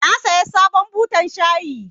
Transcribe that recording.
Na saya sabon butan shayi.